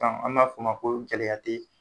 an b'a f'o ma ko gɛlɛya te ye.